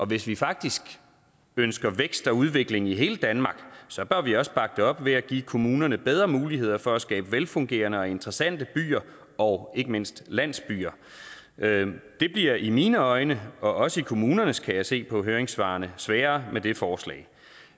hvis vi faktisk ønsker vækst og udvikling i hele danmark så bør vi også bakke det op ved at give kommunerne bedre muligheder for at skabe velfungerende og interessante byer og ikke mindst landsbyer det bliver i mine øjne og også i kommunernes kan jeg se på høringssvarene sværere med det forslag